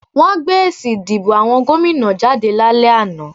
Wọ́n gbé èsì ìdìbò àwọn gómìnà jáde lálẹ́ àná